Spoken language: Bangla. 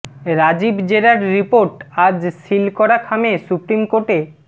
রাজীব জেরার রিপোর্ট আজ সিল করা খামে সুপ্রিম কোর্টে